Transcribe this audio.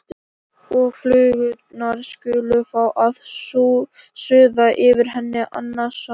Og flugurnar skulu fá að suða yfir henni annan söng.